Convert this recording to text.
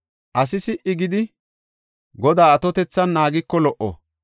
Asi si77i gidi Godaa atotethan naagiko lo77o.